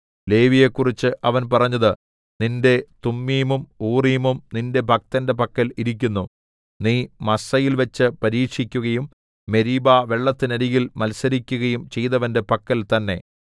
ലേവിയെക്കുറിച്ച് അവൻ പറഞ്ഞത് നിന്റെ തുമ്മീമും ഊറീമും നിന്റെ ഭക്തന്റെ പക്കൽ ഇരിക്കുന്നു നീ മസ്സയിൽവച്ചു പരീക്ഷിക്കുകയും മെരീബാ വെള്ളത്തിനരികിൽ മത്സരിക്കുകയും ചെയ്തവന്റെ പക്കൽ തന്നെ